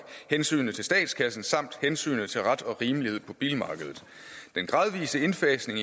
hensynet til statskassen samt hensynet til ret og rimelighed på bilmarkedet den gradvise indfasning